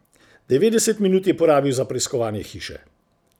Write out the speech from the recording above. Devetdeset minut je porabil za preiskovanje hiše.